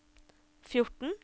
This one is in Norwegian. fjorten